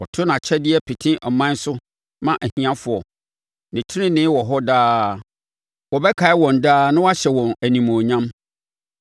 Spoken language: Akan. Ɔto nʼakyɛdeɛ pete aman so ma ahiafoɔ, ne tenenee wɔ hɔ daa; wɔbɛkae wɔn daa na wɔahyɛ wɔn animuonyam.